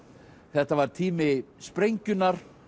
þetta var tími sprengjunnar